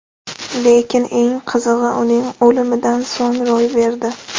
Lekin eng qizig‘i uning o‘limidan so‘ng ro‘y berdi.